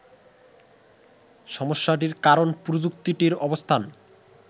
সমস্যাটির কারণ প্রযুক্তিটির অবস্থান